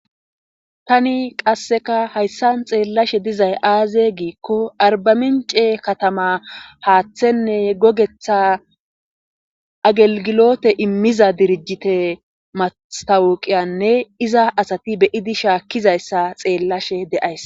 tani qasseka hayssan xeellashe dizay aazee giikko arbamince katamaa haathenne gogethaa agelgiloote immiza dirijjite mastawuqiyaanne iza asati be7izi shaakkizayssa xeellashe de7ays.